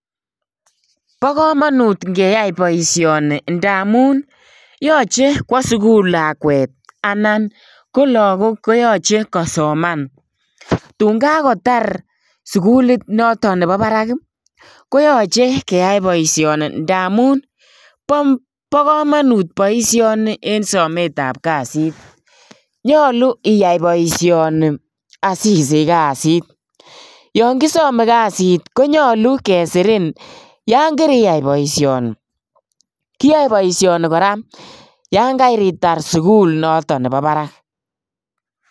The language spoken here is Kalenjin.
Bo kamanut ingeyai boisioni ndamun yoche kwo sugul lakwet anan ko lagok ko yache kosoman. Tun kagotar sugulit noto nebo barak ii koyache keyai boisioni ndamun bo kamanut boisioni en sometab kasit. Nyalu iyai boisioni asisich kasit. Yon ngisome kasit ko nyalu kesirin yon kiriyai boisioni. Kiyae boisioni kora yon karitar sugul noto nebo barak.